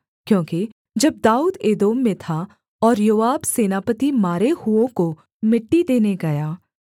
क्योंकि जब दाऊद एदोम में था और योआब सेनापति मारे हुओं को मिट्टी देने गया